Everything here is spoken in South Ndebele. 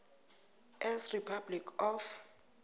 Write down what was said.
s republic of